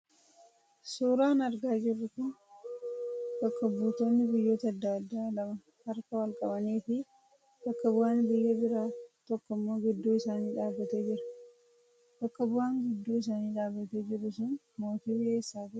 Suuraan argaa jirruu kun bakka buutooonni biyyoota adda addaa lama harka wal qabanii fi bakka bu'aan biyya biraa tokkommoo gidduu isaanii dhaabbatee jira. Bakka bu'aan giddu isaanii dhaabbatee jiruu sun mootii biyya eessaati?